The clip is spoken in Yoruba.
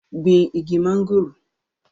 gbin igi mọ́ngòrò